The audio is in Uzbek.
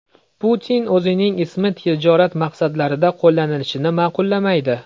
Putin o‘zining ismi tijorat maqsadlarida qo‘llanilishini ma’qullamaydi.